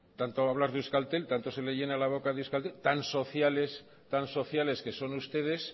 tanto hablar de euskaltel tanto se le llena la boca de euskaltel tan sociales tan sociales que son ustedes